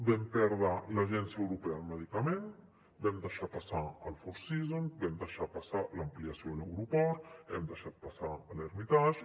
vam perdre l’agència europea del medicament vam deixar passar el four seasons vam deixar passar l’ampliació de l’aeroport hem deixat passar l’hermitage